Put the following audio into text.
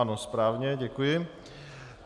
Ano, správně, děkuji.